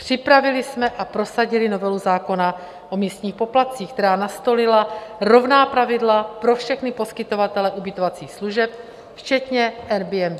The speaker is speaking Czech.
Připravili jsme a prosadili novelu zákona o místních poplatcích, která nastolila rovná pravidla pro všechny poskytovatele ubytovacích služeb včetně Airbnb.